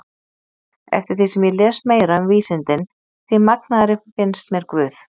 Eftir því sem ég les meira um vísindin því magnaðri finnst mér guð.